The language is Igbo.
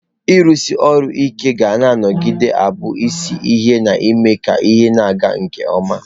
Ịrụsi ọrụ ike ga-anọgide na-abụ isi ihe na-eme ka ihe ịga nke ọma.